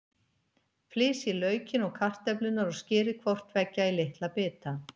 Flysjið laukinn og kartöflurnar og skerið hvort tveggja í litla bita.